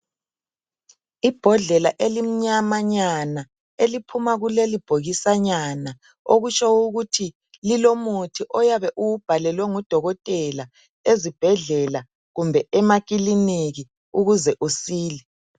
Ibhodlela elimnyamanyana. Eliphuma kulelibhokisanyana, Okutsho ukuthi lilomuthi oyabe uwubhalelwe ngudokotela, ezibhedlela, kumbe makiliniki. Ukuze usile.